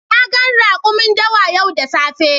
Na gan rakumin dawa yau da safe.